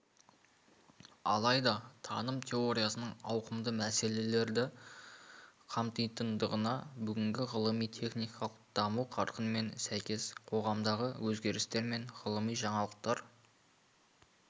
алайда таным теориясының ауқымды мәселелерді қамтитындығына бүгінгі ғылыми-техникалық даму қарқынымен сәйкес қоғамдағы өзгерістер мен ғылыми жаңалықтар